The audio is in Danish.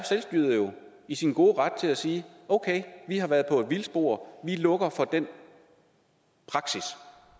i sin gode ret til at sige okay vi har været på et vildspor vi lukker for den praksis